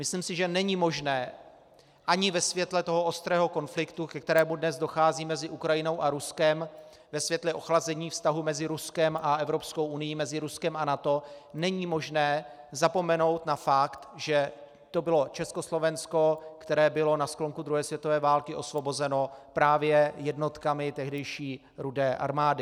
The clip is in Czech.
Myslím si, že není možné ani ve světle toho ostrého konfliktu, ke kterému dnes dochází mezi Ukrajinou a Ruskem, ve světle ochlazení vztahu mezi Ruskem a Evropskou unií, mezi Ruskem a NATO, není možné zapomenout na fakt, že to bylo Československo, které bylo na sklonku druhé světové války osvobozeno právě jednotkami tehdejší Rudé armády.